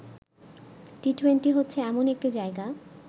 T twenty হচ্ছে এমন একটি জায়গা